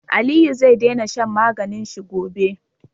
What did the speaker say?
Aliyu ze dena shan maganin shi gobe